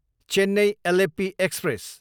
Chennai, Alleppey express